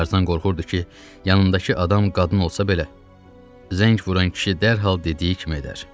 Tarzan qorxurdu ki, yanındakı adam qadın olsa belə, zəng vuran kişi dərhal dediyi kimi edər.